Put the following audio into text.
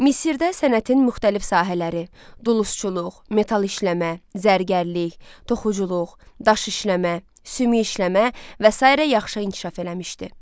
Misirdə sənətin müxtəlif sahələri: dulusçuluq, metal işləmə, zərgərlik, toxuculuq, daş işləmə, sümük işləmə və sairə yaxşı inkişaf eləmişdi.